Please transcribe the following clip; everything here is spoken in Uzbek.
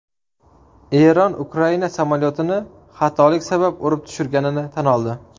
Eron Ukraina samolyotini xatolik sabab urib tushirganini tan oldi .